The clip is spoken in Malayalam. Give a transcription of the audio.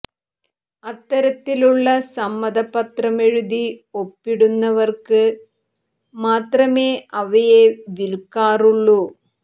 അത്തരത്തിലുള്ള സമ്മത പത്രം എഴുതി ഒപ്പിടുന്നവർക്ക് മാത്രമേ അവയെ വിൽക്കാറുള്ളൂ